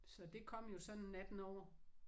Så det kom jo sådan natten over